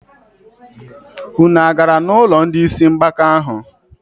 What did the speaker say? Unu agara n'ụlọ ndị isi mgbaka ahụ?